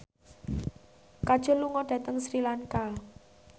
Kajol lunga dhateng Sri Lanka